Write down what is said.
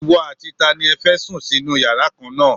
Ìwọ àti tani ẹ fẹ́ sùn sínú yàrá kan náà?